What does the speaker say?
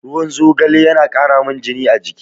Ruwan zogale yana ƙaramin jini a jiki.